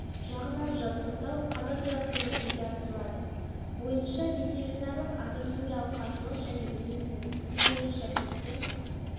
жағынан жабдықтау казагро арқылы жүзеге асырылады бойынша ветеринарлық агрохимиялық қаржылық және өнімді өткізу бойынша кеткен